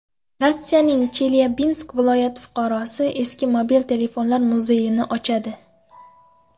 Rossiyaning Chelyabinsk viloyati fuqarosi eski mobil telefonlar muzeyini ochadi .